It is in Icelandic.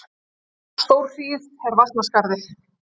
Stórhríð er Vatnsskarði